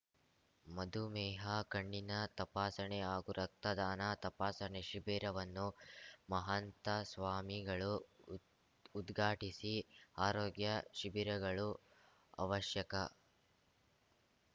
ಮಧುಮೇಹ ಕಣ್ಣಿನ ತಪಾಸಣೆ ಹಾಗು ರಕ್ತದಾನ ತಪಾಸಣೆ ಶಿಬಿರವನ್ನು ಮಹಂತ ಸ್ವಾಮಿಗಳು ಉದ್ ಉದ್ಘಾಟಿಸಿ ಆರೋಗ್ಯ ಶಿಬಿರಗಳು ಅವಶ್ಯಕ